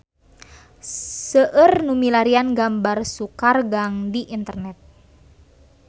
Seueur nu milarian gambar Sukaregang di internet